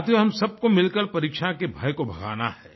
साथियो हम सबको मिलकर परीक्षा के भय को भगाना है